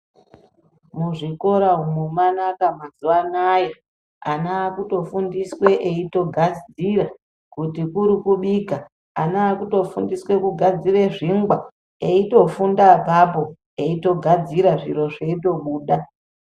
Kuzvikora umu mwanaka mazuwa anaa ana akutofundiswa eitogadzira kuti kuri kubika ana akutofundiswa kugadzira zvingwa eitofunda apapo eitogadzira zviro zveitobuda.